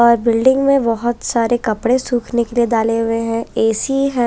आज बिल्डिंग में बहुत सारे कपड़े सूखने के लिए डाले हुए है ऐसी है।